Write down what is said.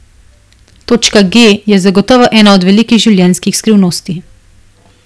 Točka G je zagotovo ena od velikih življenjskih skrivnosti.